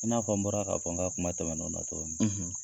I n'a fɔ n bɔra k'a fɔ n ka kuma tɛmɛnenw na cogo min.